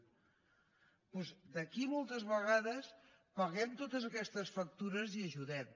doncs d’aquí moltes vegades paguem totes aquestes factures i ajudem